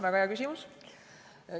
Väga hea küsimus.